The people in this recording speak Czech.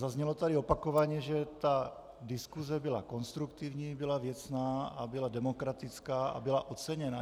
Zaznělo tady opakovaně, že ta diskuze byla konstruktivní, byla věcná a byla demokratická a byla oceněna.